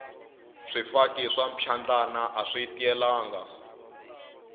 swifaki swa mphyandlana aswi tiyelanga